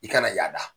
I kana yaada